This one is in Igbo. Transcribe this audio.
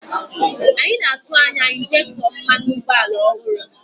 Anyị na-atụ anya injektọ mmanụ ụgbọala ọhụrụ